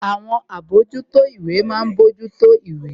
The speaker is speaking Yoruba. Àwọn àbójútó ìwé ma ń mójútó ìwé